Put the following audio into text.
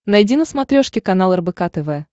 найди на смотрешке канал рбк тв